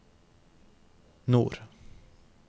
nord